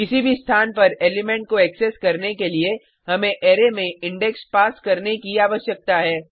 किसी भी स्थान पर एलिमेंट को एक्सेस करने के लिए हमें अरै में इंडेक्स पास करने की आवश्यकता है